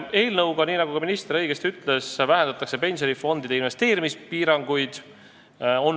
Eelnõuga, nii nagu minister õigesti ütles, vähendatakse pensionifondide investeerimispiiranguid.